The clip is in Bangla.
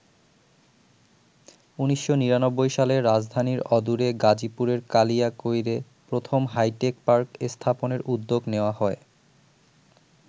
১৯৯৯ সালে রাজধানীর অদূরে গাজীপুরের কালিয়াকৈরে প্রথম হাইটেক পার্ক স্থাপনের উদ্যোগ নেওয়া হয়।